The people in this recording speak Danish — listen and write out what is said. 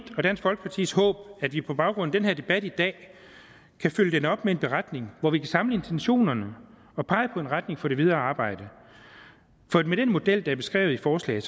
og dansk folkepartis håb at vi på baggrund af den debat i dag kan følge den op med en beretning hvor vi kan samle intentionerne og pege på en retning for det videre arbejde for med den model der er beskrevet i forslaget